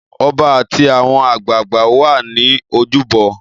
Ọba àti àwọn àgbààgbà wà ní ojúbọ.